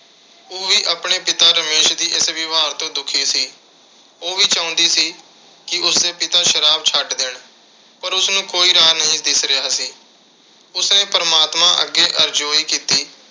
ਉਹ ਵੀ ਆਪਣੇ ਪਿਤਾ ਰਮੇਸ਼ ਦੇ ਇਸ ਵਿਵਹਾਰ ਤੋਂ ਦੁਖੀ ਸੀ। ਉਹ ਵੀ ਚਾਹੁੰਦੀ ਸੀ ਕਿ ਉਸਦੇ ਪਿਤਾ ਸ਼ਰਾਬ ਛੱਡ ਦੇਣ। ਪਰ ਉਸਨੂੰ ਕੋਈ ਰਾਹ ਨਹੀਂ ਦਿਖ ਰਿਹਾ ਸੀ। ਉਸਨੇ ਪਰਮਾਤਮਾ ਅੱਗੇ ਅਰਜ਼ੋਈ ਕੀਤੀ